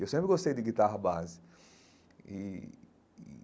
Eu sempre gostei de guitarra base e e.